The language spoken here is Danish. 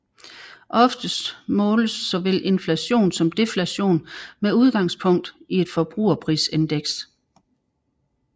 Oftest måles såvel inflation som deflation med udgangspunk i et forbrugerprisindeks